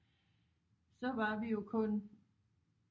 Så var vi jo kun